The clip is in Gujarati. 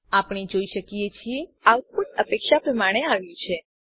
આપણે જોઈ શકીએ છીએ આઉટપુટ અપેક્ષા પ્રમાણે આવ્યું છે